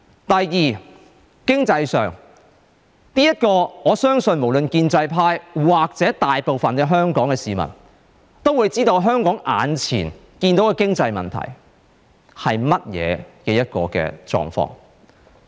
第二，經濟上，我相信無論建制派或大部分香港市民，都會知道香港眼前的經濟問題是甚麼。